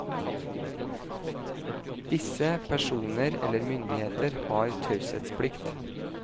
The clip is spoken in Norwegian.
Disse personer eller myndigheter har taushetsplikt.